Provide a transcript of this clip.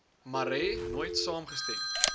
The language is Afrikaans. marais nooit saamgestem